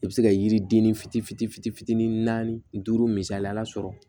I bɛ se ka yiriden ni fitinin fitinin fitinin fitinin naani duuru misaliyala sɔrɔ